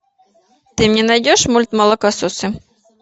ты мне найдешь мульт молокососы